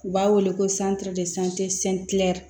U b'a wele ko